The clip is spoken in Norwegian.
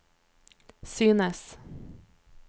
synes